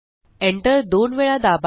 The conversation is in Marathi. enter दोन वेळा दाबा